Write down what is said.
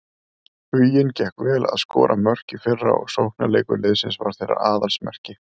Huginn gekk vel að skora mörk í fyrra og sóknarleikur liðsins var þeirra aðalsmerki.